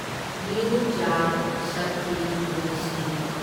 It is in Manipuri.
new Jal Shakti ministry